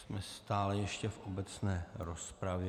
Jsme stále ještě v obecné rozpravě.